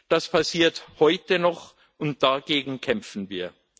Das passiert heute noch, und dagegen kämpfen wir.